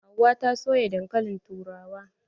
Hauwa ta soya dankalin turawa.